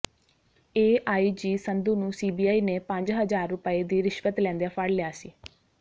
AIG Sandhu ਨੂੰ CBI ਨੇ ਪੰਜ ਹਜ਼ਾਰ ਰੁਪਏ ਦੀ ਰਿਸ਼ਵਤ ਲੈਂਦਿਆਂ ਫੜ ਲਿਆ ਸੀ